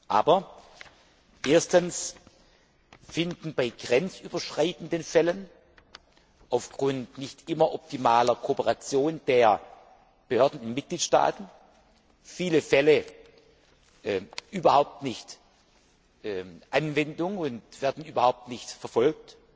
Aber erstens finden bei grenzüberschreitenden Fällen aufgrund nicht immer optimaler Kooperation der Behörden in den Mitgliedstaaten viele Fälle überhaupt nicht Anwendung und werden überhaupt nicht verfolgt.